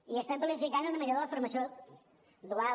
i estem planificant una millora de la formació dual